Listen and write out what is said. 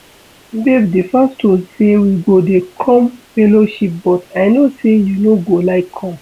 Babe the pastor say we go dey come fellowship but I no say you no go like come